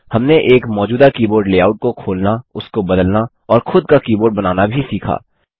हमने एक मौजूदा कीबोर्ड लेआउट को खोलना उसको बदलना और खुद का कीबोर्ड बनाना भी सीखा